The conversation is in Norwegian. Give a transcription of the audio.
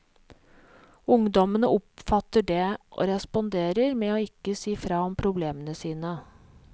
Ungdommene oppfatter det, og responderer med å ikke si fra om problemene sine.